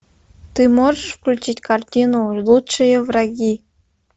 ты можешь включить картину лучшие враги